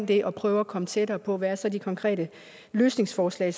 det og prøve at komme tættere på hvad så de konkrete løsningsforslag